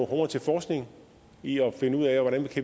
kroner til forskning i at finde ud af hvordan